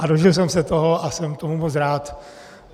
A dožil jsem se toho a jsem tomu moc rád.